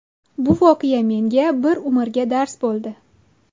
Bu voqea menga bir umrga dars bo‘ldi.